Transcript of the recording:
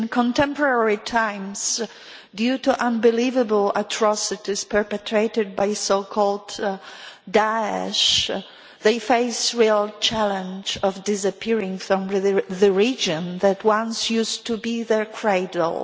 In contemporary times, due you to unbelievable atrocities perpetrated by so called Da'esh, they face the real challenge of disappearing from the region that once used to be their cradle.